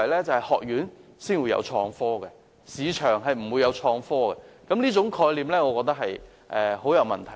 就是學院才會有創科，市場不會有創科，我認為這種概念很有問題。